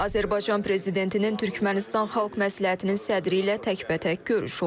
Azərbaycan prezidentinin Türkmənistan Xalq Məsləhətinin sədri ilə təkbətək görüşü olub.